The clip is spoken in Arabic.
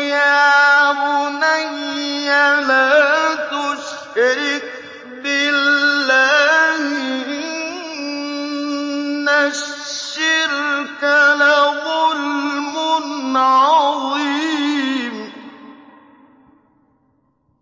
يَا بُنَيَّ لَا تُشْرِكْ بِاللَّهِ ۖ إِنَّ الشِّرْكَ لَظُلْمٌ عَظِيمٌ